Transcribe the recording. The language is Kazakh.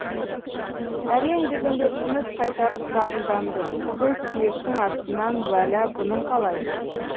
әрең дегенде тыныс қайтарып шағымданды төс сүйектің астынан уәла бұның қалай